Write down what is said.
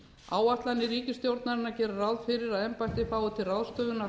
áætlanir ríkisstjórnarinnar gera ráð fyrir að embættið fái til ráðstöfunar